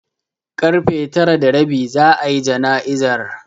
Karfe tara da rabi za'a yi jana'izar.